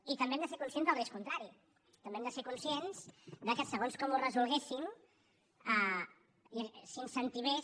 i també hem de ser conscients del risc contrari també hem de ser conscients que segons com ho resolguéssim s’incentivés